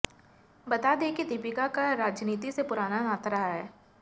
बता दें कि दीपिका का राजनीति से पुराना नाता रहा है